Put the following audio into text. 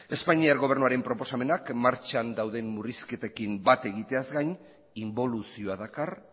espainiar gobernuaren proposamenak martxan dauden murrizketekin bat egiteaz gain inboluzioa dakar